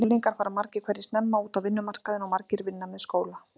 Unglingar fara margir hverjir snemma út á vinnumarkaðinn og margir vinna með skóla.